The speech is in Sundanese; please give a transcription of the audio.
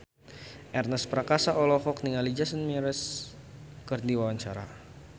Ernest Prakasa olohok ningali Jason Mraz keur diwawancara